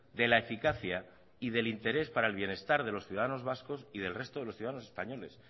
de la eficacia y del interés para el bienestar de los ciudadanos vascos y del resto de los ciudadanos españoles